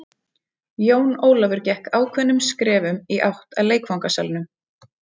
Jón Ólafur gekk ákveðnum skrefum í átt að leikfangasalnum.